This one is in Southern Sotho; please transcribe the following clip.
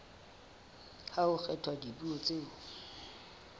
ha ho kgethwa dipuo tseo